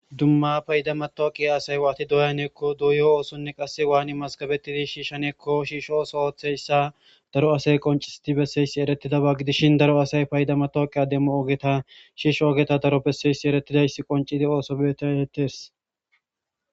dumma payda matooqiya asay waati doyaneekko duuyoo oosonne qasse waani maskabetidi shiishshaneekko shiishooso hotheyssa daro asay qoncisiti besseysi eretidaba gidishin daro asay payda matooqiya demmo oogeta shiish oogeta daro besseyssi eretidayss qoncidi ooso beetaetes